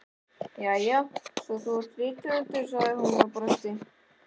Jæja, svo þú ert þá rithöfundur, sagði hún og brosti.